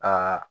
Aa